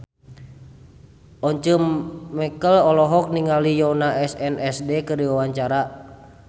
Once Mekel olohok ningali Yoona SNSD keur diwawancara